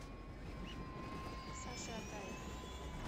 саше атаеве